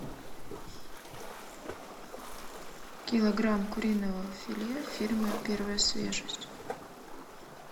килограмм куриного филе фирмы первая свежесть